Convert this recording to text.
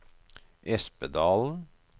Espedalen